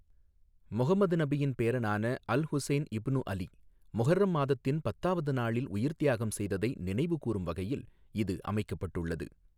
முகமது நபியின் பேரனான Al Hussain ibn Ali Muharram மாதத்தின் பத்தாவது நாளில் உயிர்த்தியாகம் செய்ததை நினைவுகூரும் வகையில் இது அமைக்கப்பட்டுள்ளது.